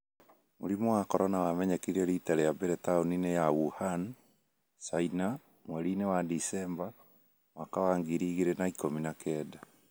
Mũrimũ wacoronawamenyekire rita rĩa mbere taũni-inĩ ya Wuhan, China, mweri-inĩ wa Disemba, mwaka wa ngiri ĩgirĩ na ĩkũmi na kenda.